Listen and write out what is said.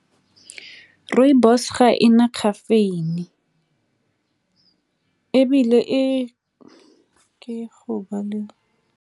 Rooibos ga e na caffeine ebile e ke .